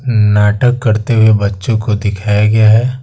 नाटक करते हुए बच्चों को दिखाया गया है।